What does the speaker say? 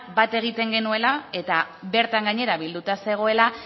bat egiten genuela eta bertan gainera bilduta zegoela